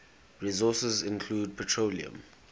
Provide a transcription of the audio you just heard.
resources include petroleum